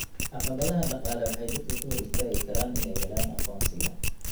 Caqabadaha dhaqaale waxay dadka ka hor istaagi karaan inay helaan aqoonsiga.